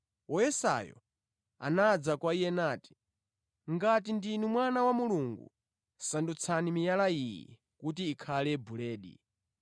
Woyesayo anadza kwa Iye nati, “Ngati ndinu mwana wa Mulungu, sandutsani miyala iyi kuti ikhale buledi.”